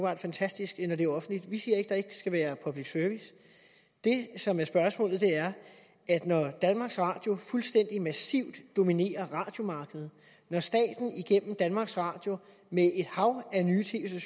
er fantastisk når det er offentligt vi siger ikke at der ikke skal være public service det som er spørgsmålet er når danmarks radio fuldstændig massivt dominerer radiomarkedet når staten igennem danmarks radio med et hav af nye tv